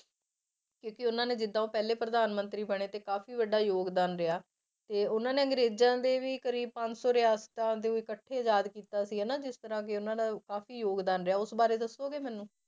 ਕਿਉਂਕਿ ਉਹਨਾਂ ਨੇ ਜਿੱਦਾਂ ਉਹ ਪਹਿਲੇ ਪ੍ਰਧਾਨ ਮੰਤਰੀ ਬਣੇ ਤੇ ਕਾਫ਼ੀ ਵੱਡਾ ਯੋਗਦਾਨ ਰਿਹਾ ਤੇ ਉਹਨਾਂ ਨੇ ਅੰਗਰੇਜ਼ਾਂ ਦੇ ਵੀ ਕਰੀਬ ਪੰਜ ਸੌ ਰਿਆਸਤਾਂ ਦੇ ਇਕੱਠੇ ਰਾਜ ਕੀਤਾ ਸੀ ਹਨਾ ਜਿਸ ਤਰ੍ਹਾਂ ਕਿ ਉਹਨਾਂ ਨੇ ਕਾਫ਼ੀ ਯੋਗਦਾਨ ਰਿਹਾ ਉਸ ਬਾਰੇ ਦੱਸੋਗੇ ਮੈਨੂੰ।